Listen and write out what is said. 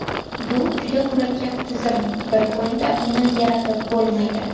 Bu juda murakkab tizim, bir kunda uni yaratib bo‘lmaydi.